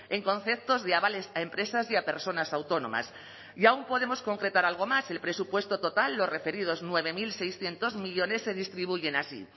en conceptos de avales a empresas y a personas autónomas y aún podemos concretar algo más el presupuesto total los referidos nueve mil seiscientos millónes se distribuyen así